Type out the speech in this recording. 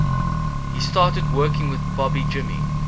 he started working with bobby jimmy